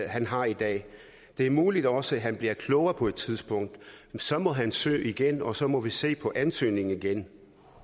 han har i dag det er muligt at også han bliver klogere på et tidspunkt men så må han søge igen og så må vi se på ansøgningen igen